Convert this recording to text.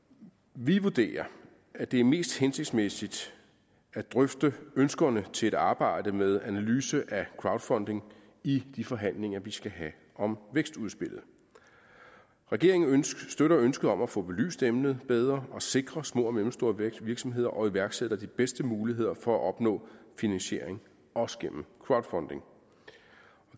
vi vurderer at det er mest hensigtsmæssigt at drøfte ønskerne til et arbejde med analyse af crowdfunding i de forhandlinger vi skal have om vækstudspillet regeringen støtter ønsket om at få belyst emnet bedre og sikre små og mellemstore virksomheder og iværksættere de bedste muligheder for at opnå finansiering også gennem crowdfunding